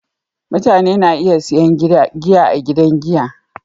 Mutane na iya sayan giya a gidan giya